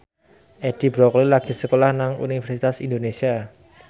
Edi Brokoli lagi sekolah nang Universitas Indonesia